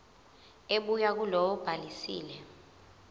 ebuya kulowo obhalisile